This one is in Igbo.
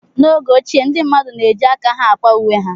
N'oge ochie, ndị mmadụ na-eji aka ha akwa uwe ha.